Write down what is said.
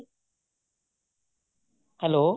hello